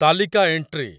ତାଲିକା ଏଣ୍ଟ୍ରି